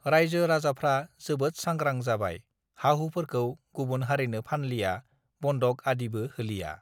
रायजो राजाफ्रा जोबोद सांग्रां जाबाय हाहुफोरखौ गुबुन हारिनो फानलिया बन्दक आदिबो हलिया